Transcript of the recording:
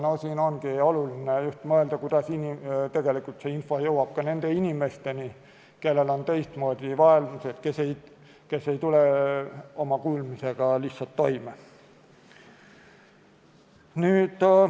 Siin ongi oluline mõelda, kuidas tegelikult info jõuab ka nende inimesteni, kellel on vaegused, kes ei tule kuulmisega lihtsalt toime.